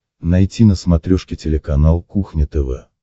найти на смотрешке телеканал кухня тв